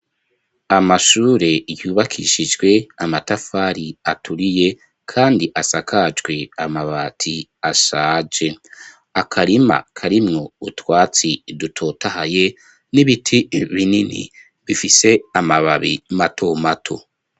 Amashure yubakishijwe amatafari aturiye kandi asakajwe amabati ashaje . Akarima karimw 'utwatsi dutotahaye, n'ibiti binini bifise amababi mato mato.